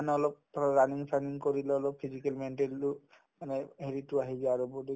মানে অলপ ধৰ running চানিং কৰিলে অলপ physical mental ও এনাই হেৰিতো আহি যায় আৰু body ত